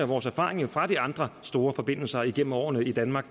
vores erfaringer fra de andre store forbindelser igennem årene i danmark